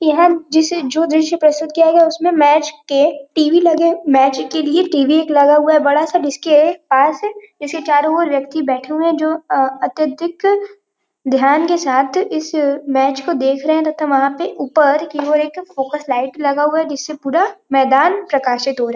यहाँ जिसे जो दृश्य प्रस्तुत किया गया है। उसमें मैच के टी.वी लगे मैच के लिए टी.वी एक लगा हुआ है बड़ा सा जिसके पास इसे चारों ओर व्यक्ति बैठे हुए हैं जो अ- अत्यधिक ध्यान के साथ इस मैच को देख रहे हैं तथा वहाँ पे ऊपर की ओर एक फोकस लाइट लगा हुआ है जिससे पूरा मैदान प्रकाशित हो रहा।